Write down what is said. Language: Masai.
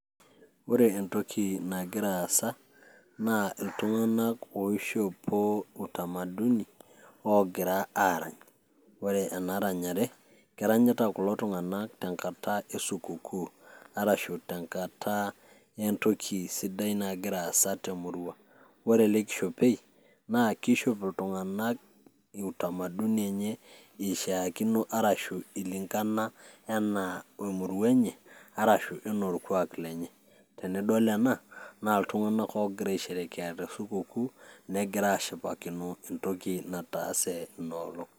ore entoki nagira aasa naa iltunganak oishopo utamaduni oogira aarany. ore ena ranyare keranyita kulo tunganak tenkata e sukukuu arashu tenkata entoki sidai nagira aasa temurua. ore ele kishopei naa kishop iltunganak utamaduni enye, eishaakino arashu ilinkana we murua enye arashu anaa orkuaak lrnry, tenidol ena, naa iltunganak oogira aisherekea te sukukuu, negira aasipakino entoki nataase ina olong'.